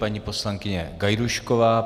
Paní poslankyně Gajdůšková.